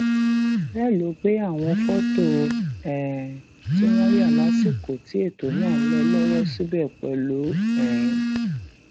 bẹẹ ló gbé àwọn fọtò um tí wọn yà lásìkò tí ètò náà ń lọ lọwọ síbẹ pẹlú um